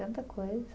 Tanta coisa.